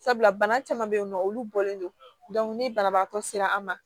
Sabula bana caman bɛ yen nɔ olu bɔlen don ni banabagatɔ sera an ma